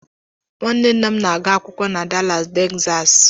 Nwanne nna m na-agụ akwụkwọ na Dalas Tegzaasị.